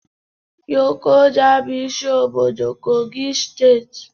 Lokoja bụ isi obodo kogi steeti